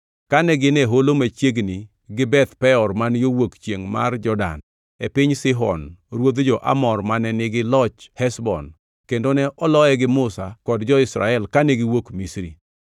kane gin e holo machiegni gi Beth Peor man yo wuok chiengʼ mar Jordan, e piny Sihon ruodh jo-Amor mane nigi loch Heshbon kendo ne oloye gi Musa kod jo-Israel kane giwuok Misri.